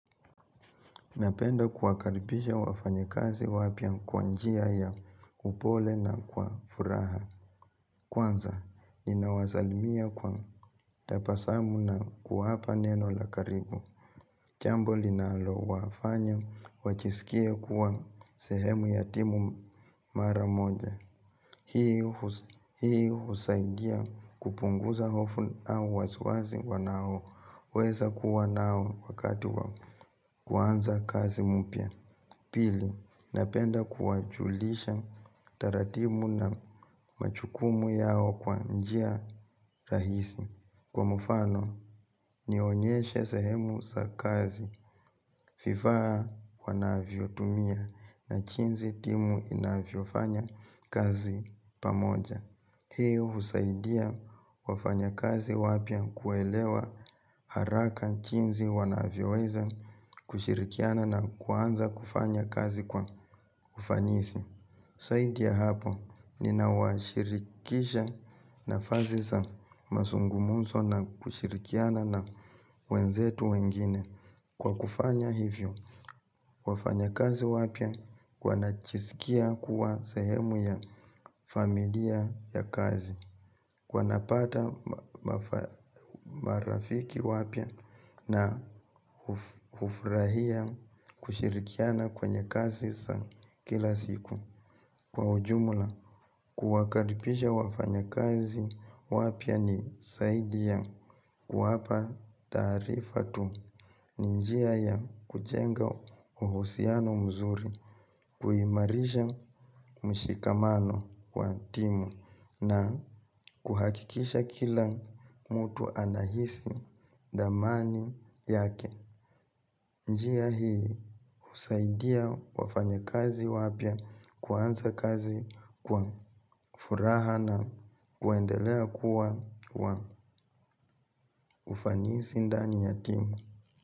Napenda kuwakaribisha wafanya kazi wapya kwanjia ya upole na kwa furaha. Kwanza ninawazalimia kwa tapasamu na kuwapa neno lakaribu chambo linalo wafanya wachisikie kuwa sehemu yatimu mara moja. Hii husaidia kupunguza hofu au wasiwazi wanao weza kuwa nao wakati wa kuanza kazi mpya. Pili, napenda kuwajulisha taratimu na machukumu yao kwa njia rahisi. Kwa mufano nionyeshe sehemu sa kazi. Fifaa wanavyo tumia na chinzi timu inavyo fanya kazi pamoja. Hiyo husaidia wafanya kazi wapya kuwaelewa haraka chinzi wanavyoweza kushirikiana na kuanza kufanya kazi kwa ufanisi. Saidi ya hapo ni nawashirikisha na faziza masungumuso na kushirikiana na wenzetu wengine kwa kufanya hivyo. Wafanya kazi wapya wanachisikia kuwa sehemu ya familia ya kazi wanapata marafiki wapya na hufurahia kushirikiana kwenye kazi za kila siku. Kwa ujumula kuwakaripisha wafanya kazi wapya ni saidi ya kuwapa taarifa tu ninjia ya kuchenga uhusiano mzuri kuimarisha mshikamano kwa timu na kuhakikisha kila mtu anahisi damani yake. Njiya hii husaidia wafanya kazi wapya kuanza kazi kwa furaha na kuendelea kuwa ufanisi ndani ya timu.